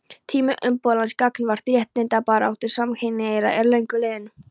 Tími umburðarlyndis gagnvart réttindabaráttu samkynhneigðra er löngu liðinn.